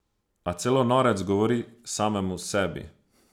A celo norec govori samemu sebi.